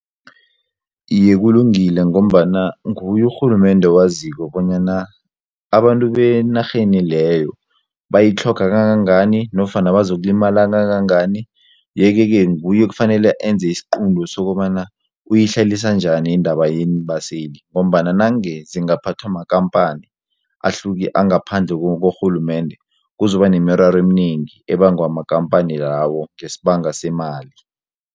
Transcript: Iye, kulungile ngombana nguye urhulumende owaziko bonyana abantu benarheni leyo bayitlhoga kangangani nofana bazokulimala kangangani yeke-ke nguye ekufanele enze isiqunto sokobana uyihlalisa njani indaba yeembaseli ngombana nange zingaphathwa makhamphani angaphandle korhulumende kuzoba nemiraro eminengi ebangwa makampani lawo ngesibanga semali.